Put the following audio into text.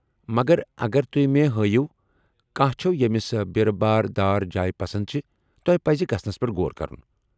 مگر ، اگر تُہۍ مےٚ ہٲیو کانٛہہ چھِو ییٚمِس بیرٕ باریہِ دار جایہ پسند چھِ ، تۄہہ پزِ گژھنس پیٹھ غور كرُن ۔